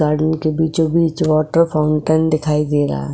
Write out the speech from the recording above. garden के बीचो बीच वॉटर फाउंटेन दिखाई दे रहा --